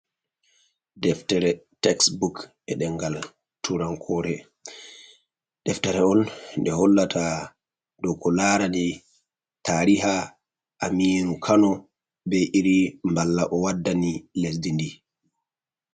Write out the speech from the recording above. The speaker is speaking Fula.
Deftere texbuk e ɗemgal turankore, deftere on ndei hollata dow ko larani tariha Aminu Kano bei irin mballa O waddani lesdi ndi.